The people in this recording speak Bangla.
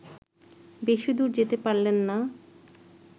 বেশিদূর যেতে পারলেন না